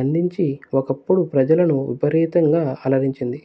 అందించి ఒకప్పుడు ప్రజలను విపరీతంగా అలరించింది